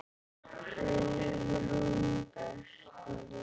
Sigrún besta vinkona hennar.